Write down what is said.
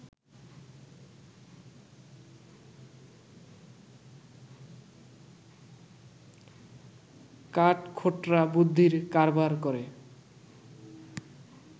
কাঠখোট্টা বুদ্ধির কারবার করে